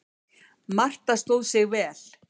Marta stóð sig vel.